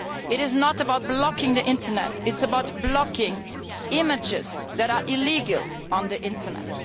It is not about blocking the Internet, it is about blocking images that are illegal on the Internet.